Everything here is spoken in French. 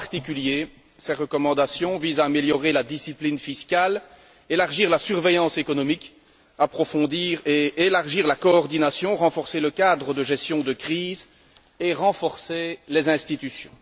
En particulier, ses recommandations visent à améliorer la discipline fiscale, élargir la surveillance économique, approfondir et élargir la coordination, renforcer le cadre de gestion de crise et renforcer les institutions.